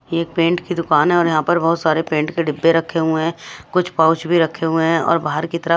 ये पेंट की दुकान है और यहां पर बहोत सारे पेंट के डिब्बे रखे हुए है कुछ पाउच भी रखे हुए है और बाहर की तरफ--